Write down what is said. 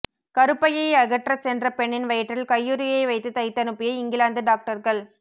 கருப்பையை அகற்றச் சென்ற பெண்ணின் வயிற்றில் கையுறையை வைத்து தைத்தனுப்பிய இங்கிலாந்து டாக்டர்கள்